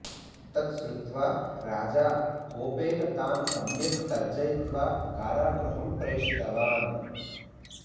तत् श्रुत्वा राजा कोपेन तान् सम्यक् तर्जयित्वा कारागृहं प्रेषितवान्